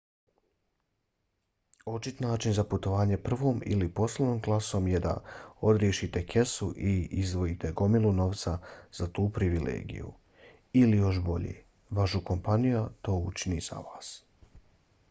očit način za putovanje prvom ili poslovnom klasom je da odriješite kesu i izdvojite gomilu novca za tu privilegiju ili još bolje vaša kompaniju to učini za vas